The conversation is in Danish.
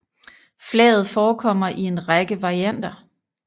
Flaget forekommer i en række varianter